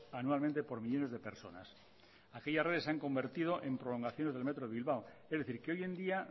anualmente por millónes de personas aquellas redes se han convertido en prolongaciones del metro de bilbao es decir que hoy en día